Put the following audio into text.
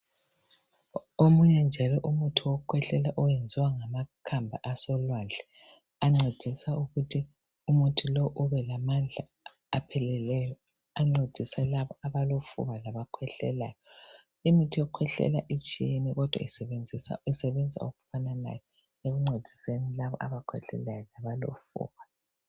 Omunye njalo umuthi wokukhwehlela owenziwa ngamakhamba asolwandle. Ancedisa ukuthi umuthi lowu ubelamandla apheleleyo. Ancedisa labo abalofuba, labakhwehlelayo. Imithi yokukhwehlela itshiyene, kodwa isebenza okufananayo. Ekuncediseni labo abakhwehlelayo labalofuba.